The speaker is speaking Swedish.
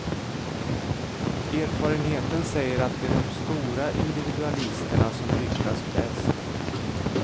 Erfarenheten säger att det är de stora individualisterna som lyckas bäst.